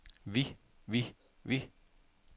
vi vi vi